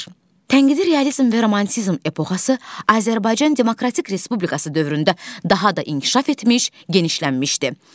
Tənqidi realizm və romantizm epoxası Azərbaycan Demokratik Respublikası dövründə daha da inkişaf etmiş, genişlənmişdi.